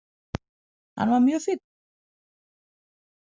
Hann var mjög fínn.